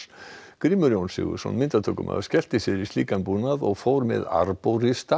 Grímur Jón Sigurðsson myndatökumaður skellti sér í slíkan búnað og fór með